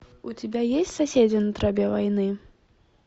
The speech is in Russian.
у тебя есть соседи на тропе войны